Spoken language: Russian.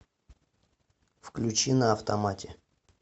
включи на автомате